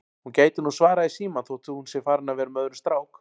Hún gæti nú svarað í símann þótt hún sé farin að vera með öðrum strák